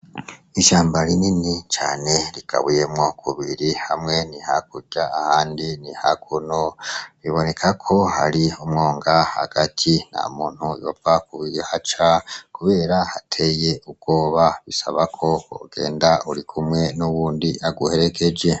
Ishamba rini cane rigabuyemwo kubiri hamwe ni hakurya ahandi ni hakuno, biboneka ko hari umwonga hagati nta muntu yopfa kuhaca kubera hateye ubwoba, bisaba ko wogenda urikumwe n’uwundi aguherekeje.